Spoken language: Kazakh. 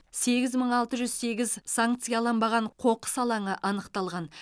сегіз мың алты жүз сегіз санкцияланбаған қоқыс алаңы анықталған